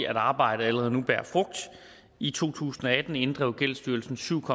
at arbejdet allerede nu bærer frugt i to tusind og atten inddrev gældsstyrelsen syv